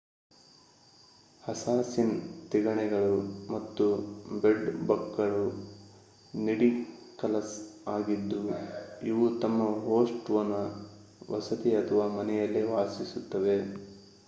assassin ತಿಗಣೆಗಳು ಮತ್ತು bed ಬಗ್‌ಗಳು ನಿಡಿಕಲಸ್ ಆಗಿದ್ದು ಇವು ತಮ್ಮ ಹೋಸ್ಟ್‌ನ ವಸತಿ ಅಥವಾ ಮನೆಯಲ್ಲೇ ವಾಸಿಸುತ್ತವೆ